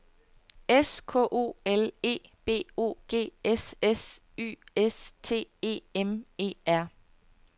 S K O L E B O G S S Y S T E M E R